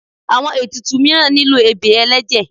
awọn etùtù miiran nílo ebè ẹlẹjẹ